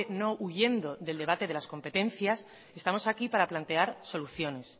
no huyendo del debate de las competencias estamos aquí para plantear soluciones